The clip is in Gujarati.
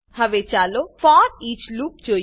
હવે ચાલો ફોરઈચ લૂપ જોઈએ